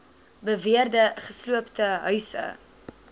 beweerde gesloopte huise